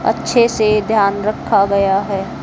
अच्छे से ध्यान रखा गया है।